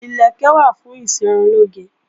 Ìlẹ̀kẹ̀ wà fún ìṣerunlóge